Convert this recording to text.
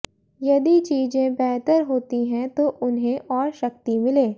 यदि चीजें बेहतर होती हैं तो उन्हें और शक्ति मिले